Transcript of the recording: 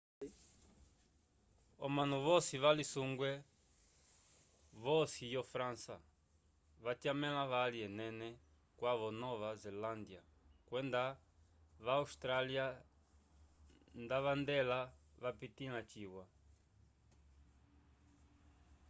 omanu voci valisungwe vocofe yo frança vatyamavali ene cwava nova zelandya kwenda va awstralyano nda valyendela vapitila ciwa